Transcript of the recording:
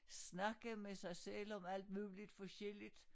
Snakke med sig selv om alt muligt forskelligt